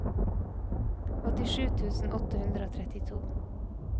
åttisju tusen åtte hundre og trettito